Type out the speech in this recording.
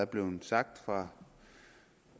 blevet sagt fra